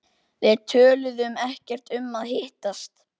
Við töluðum ekkert um að hittast.